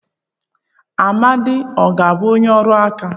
Amadi ọ ga-abụ onye ọrụ aka?